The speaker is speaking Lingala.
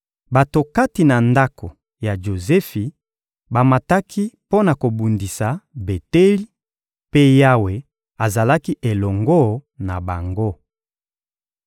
Bato kati na ndako ya Jozefi bamataki mpo na kobundisa Beteli, mpe Yawe azalaki elongo na bango.